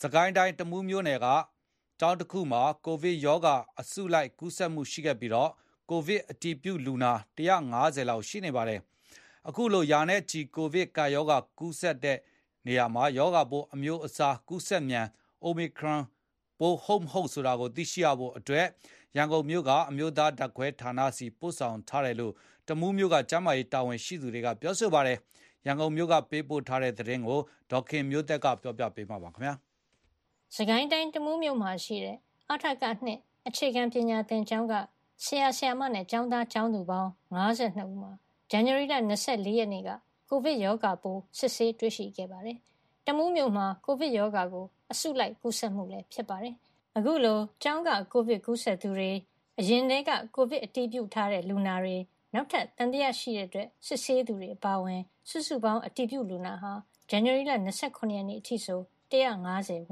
စစ်ကိုင်းတိုင်း၊ တမူးမြို့က ကျောင်းတကျောင်းမှာကိုဗစ်ကပ်ရောဂါ အစုလိုက် ကူးစက်မှုရှိခဲ့ပြီး ကိုဗစ်အတည်ပြုလူနာ ၁၅၀ လောက်ရှိနေပါတယ်။ အခုလို ရာနဲ့ချီ ကိုဗစ်ကပ်ရောဂါကူးနေတဲ့ ရောဂါပိုးအမျိုးအစားဟာ ကူးစက်မြန် Omicron ကိုဗစ်ပိုး ဟုတ်၊ မဟုတ်ဆိုတာကို သိရဖို့ ရန်ကုန်မြို့က အမျိုးသားဓာတ်ခွဲဌာနဆီ ပို့ဆောင်ထားတယ်လို့ တမူးမြို့က ကျန်းမာရေးတာဝန်ရှိသူတွေက ပြောပါတယ်။ ။ ရန်ကုန်မြို့က ပေးပို့တဲ့ ဒီသတင်းကို ဒေါ်ခင်မျိုးသက်က ပြောပြပေးမှာပါ။ စစ်ကိုင်းတိုင်း၊ တမူးမြို့မှာရှိတဲ့ အ.ထ.က ၂ အခြေခံပညာသင်ကျောင်းက ဆရာ၊ ဆရာမနဲ့ ကျောင်းသား၊ ကျောင်းသူပေါင်း ၅၃ ဦးမှာ ဇန်နဝါရီလ ၂၄ ရက်နေ့ကကိုဗစ်ရောဂါပိုး စစ်ဆေးတွေ့ရှိခဲ့ပါတယ်။ တမူးမြို့မှာ ကိုဗစ်ကပ်ရောဂါကို အစုလိုက် ကူးစက်မှုလည်း ဖြစ်ပါတယ်။ အခုလို ကျောင်းက ကိုဗစ်ကူးစက်သူတွေ၊ အရင်ထဲက ကိုဗစ်အတည်ပြုလူနာတွေ၊ နောက်ထပ်သံသယရှိလို့ စစ်ဆေးသူတွေ အပါအဝင် စုစုပေါင်း အတည်ပြုလူနာဟာ ဇန်နဝါရီလ ၂၇ ရက်နေ့အထိ ၁၅၀ ဝ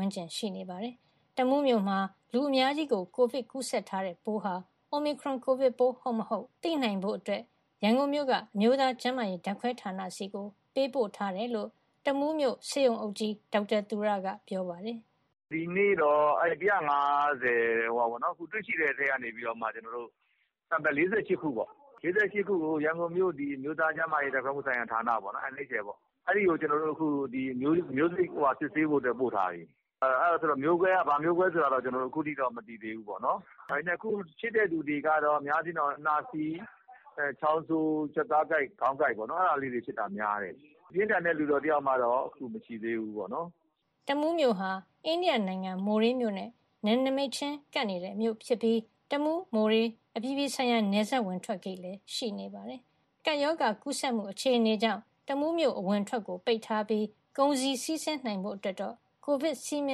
န်းကျင်ရှိနေပါတယ်။ တမူးမြို့မှာ လူအများကြီး ကိုဗစ်ကူးစက်ထားတဲ့ ပိုးဟာ Omicron ကိုဗစ်ပိုး ဟုတ်၊ မဟုတ်ဆိုတာကို သိနိုင်ဖို့ ရန်ကုန်မြို့က အမျိုးသားကျန်းမာရေး ဓာတ်ခွဲဌာနဆီ ပေးပို့ထားတယ်လို့ တမူးမြို့ဆေးရုံအုပ်ကြီး ဒေါက်တာသူရက ပြောပါတယ်။ "ဒီနေ့တော့ အခုတွေ့ရှိတဲ့ ၁၅၀ ထဲကနေ sample ၄၈ ခုကို ရန်ကုန်မြို့ အမျိုးသားကျန်းမာရေး ဓာတ်ခွဲမှုဆိုင်ရာဌာန (NHL) အဲဒီကို ကျနော်တို့ အခုစစ်ဆေးဖို့အတွက် ပို့ထားပြီ။ အဲဒါဆိုတော့ မျိုးကွဲက ဘာမျိုးကွဲဆိုတာကိုတော့ ကျနော်တို့ ခုထိတော့ မသိသေးဘူးပေါ့နော်။ ဒါပေမယ့် အခုဖြစ်တဲ့လူတွေကတော့ အများအားဖြင့်တော့ နှာစေး၊ ချောင်းဆိုး၊ ကြွက်သားကိုက်၊ ခေါင်းကိုက်ပေါ့နော် အဲဒါလေးတွေ ဖြစ်တာများတယ်။ ပြင်းထန်တဲ့လူနာတော့ အခုထိတယောက်မှတော့ မရှိသေးဘူးပေါ့နော်။" တမူးမြို့ဟာ အိန္ဒိယနိုင်ငံ မိုးရေးမြို့နဲ့ နယ်နိမိတ်ချင်းကပ်နေတဲ့မြို့ဖြစ်ပြီးတမူး-မိုးရေ းအပြည်ပြည်ဆိုင်ရာ နယ်စပ်ဝင်ထွက်ဂိတ်လည်း ရှိနေပါတယ်။ကပ်ရောဂါကူးစက်မှု အခြေအနေကြောင့် တမူးမြို့အဝင်အထွက် ပိတ်ထားပြီး ကုန်စည်စီးဆင်းနိုင်ဖို့အတွက်ကိုတော့ ကိုဗစ်စည်းမျ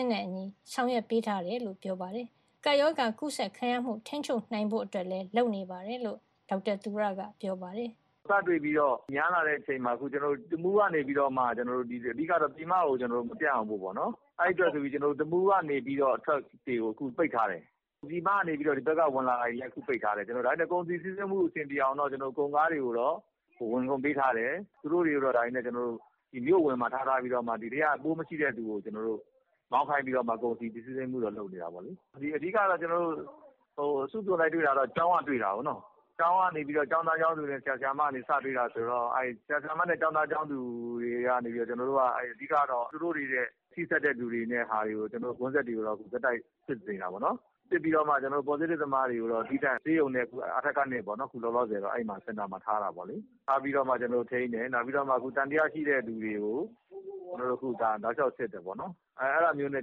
ဉ်းနဲ့အညီ ဆောင်ရွက်ပေးထားတယ်လို့ ပြောပါတယ်။ ကပ်ရောဂါကူးစက်ခံရမှု ထိန်းချုပ်နိုင်ဖို့အတွက်လည်း လုပ်နေတယ်လို့ ဒေါက်တာသူရက ပြောပါတယ်။ "စတွေ့ပြီးတော့ များလာတဲ့အချိန်မှာ တမူးကနေပြီးတော့ ပြည်မကိုမပြန့်အောင်လို့ တမူးကနေ အထွက်တွေကို ပိတ်ထားတယ်။ ပြည်မကနေ ဝင်လာတာတွေကိုလည်း အခုပိတ်ထားတယ်။ ဒါပေမယ့် ကုန်စည်စီးဆင်းမှု အဆင်ပြေအောင်တော့ ကုန်ကားတွေကိုတော့ ဝင်ခွင့်ပေးထားတယ်။ ဒါပေမယ့် သူတို့တွေကို မြို့အဝင်မှာထားပြီးတော့ ပိုးမရှိတဲ့လူကိုမှ မောင်းခိုင်းပြီးတော့ ကုန်စည်စီးဆင်းမှုတော့ လုပ်နေတာပေါ့လေ။ အဓိကတော့ ကျနော်တို့ အစုအပြုံလိုက်တွေ့တာတော့ ကျောင်းကတွေ့တာပေါ့နော်။ ကျောင်းသား၊ ကျောင်းသူတွေနဲ့ ဆရာ၊ ဆရာမတွေကနေ စတွေ့တာဆိုတော့ သူတို့တွေနဲ့ ထိစပ်တဲ့ contact တွေကိုတော့ ကျနော်တို့ ဆက်တိုက်စစ်နေတာပေါ့နော်။ စစ်ပြီးတော့မှ positive သမားတွေကိုတော့ သီးသန့် ဆေးရုံနဲ့ အထက ၂ စင်တာမှာ ထားတာပေါ့လေ။ ထားပြီးတော့မှ ကျနော်တို့ထိန်းတယ်။ နောက်ပြီးတော့ သံသယရှိတဲ့လူတွေကို တောက်လျှောက်စစ်တယ်ပေါ့နော်။ အဲဒါမျိုးနဲ့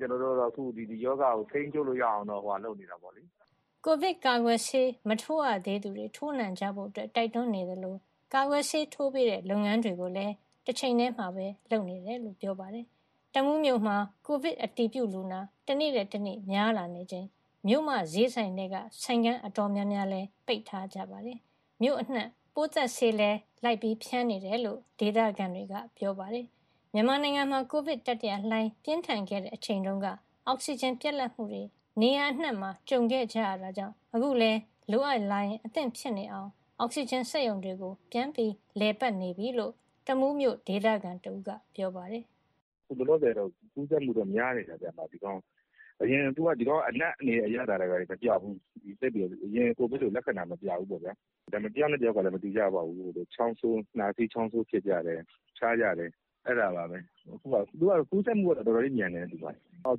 တော့ ရောဂါကိုထိန်းချုပ်လို့ရအောင် လုပ်နေတာပေါ့။" ကိုဗစ်ကာကွယ်ဆေး မထိုးရသေးသူတွေ ထိုးနှံကြဖို့တိုက်တွန်းနေသလို ကာကွယ်ဆေးထိုးပေးတဲ့ လုပ်ငန်းတွေကိုလည်း တချိန်ထဲမှာ လုပ်နေတယ်လို့ ပြောပါတယ်။ တမူးမြို့မှာ ကိုဗစ်အတည်ပြုလူနာ တနေ့ထက်တနေ့ များလာနေချိန် မြို့မဈေးဆိုင်ထဲက ဆိုင်ခန်းတော်တော်များများ ပိတ်ထားကြပါတယ်။မြို့အနှံ့ ပိုးသတ်ဆေးလိုက်လံဖြန်းနေတယ်လို့ ဒေသခံတွေကပြောပါတယ်။ မြန်မာနိုင်ငံမှာ ကိုဗစ်တတိယလှိုင်း ပြင်းထန်ခဲ့တဲ့အချိန်က အောက်စီဂျင်ပြတ်လတ်မှုတွေ နေရာအနံှ့ကြုံခဲ့ကြရတာကြောင့် အခုလည်း လိုအပ်လာရင် အသင့်ဖြစ်နေအောင် အောက်စီဂျင်စက်ရုံတွေ ပြန်လည်ပတ်နေပြီလို့ တမူးမြို့ ဒေသခံတဦးက ပြောပါတယ်။ "အခုလောလောဆယ်တော့ ကူးစက်မှုက များတယ်ဗျ။ အရင်လို အနံ့တွေ၊ အရသာတွေ မပျောက်ဘူး၊ အရင်ကိုဗစ်လို လက္ခဏာမပြဘူးပေါ့ဗျာ။ ဒါပေမယ့် တယောက်နဲ့ တယောက်ကလည်း မတူကြဘူး။ နှာစေး၊ ချောင်းဆိုး ဖြစ်ကြတယ်၊ ဖျားကြတယ်။ သူက ကူးစက်မှုကတော့ တော်တော်လေးမြန်တယ်။ အောက်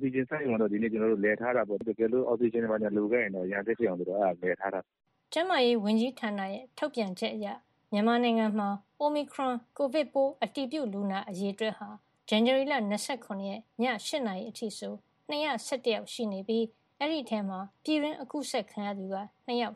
စီဂျင်စက်ရုံကတော့ ဒီနေ့လည်ထားတာပေါ့။ တကယ်လို့ အောက်စီဂျင် ဘာညာလိုခဲ့ရင်တော့ အရံအသင့်ဖြစ်အောင် အဲဒါလည်ထားတာ။" ကျန်းမာရေးဝန်ကြီးဌာန ထုတ်ပြန်ချက်အရ မြန်မာနိုင်ငံမှာ Omicron အတည်ပြုလူနာအရေအတွက် ဇန်နဝါရီလ ၂၇ ရက် ည ၈ နာရီအထိ၂၁၁ ယောက်ရှိပြီး အဲဒီထဲမှာ ပြည်တွင်းကူးစက်ခံရသူက ၂ ယောက်